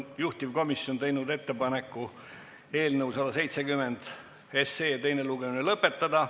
Juhtivkomisjon on teinud ettepaneku eelnõu 170 teine lugemine lõpetada.